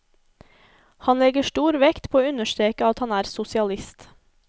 Han legger stor vekt på å understreke at han er sosialist.